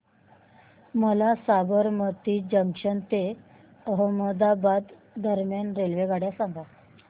मला साबरमती जंक्शन ते अहमदाबाद दरम्यान रेल्वेगाड्या सांगा